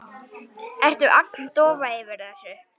Ertu agndofa yfir þessu?